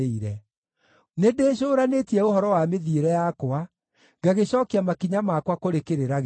Nĩndĩcũũranĩtie ũhoro wa mĩthiĩre yakwa, ngagĩcookia makinya makwa kũrĩ kĩrĩra gĩaku.